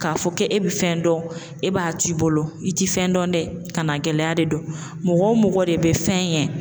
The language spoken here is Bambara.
K'a fɔ k'e bɛ fɛn dɔn e b'a t'i bolo i ti fɛn dɔn dɛ kanagɛlɛya de don mɔgɔ mɔgɔ de bɛ fɛn ɲɛ